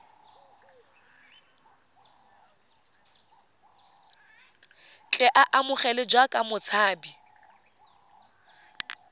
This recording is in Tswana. tle a amogelwe jaaka motshabi